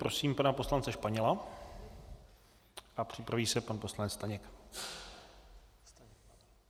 Prosím pana poslance Španěla a připraví se pan poslanec Staněk.